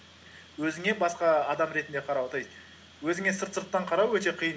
өзіңе басқа адам ретінде қарау то есть өзіңе сырттан қарау өте қиын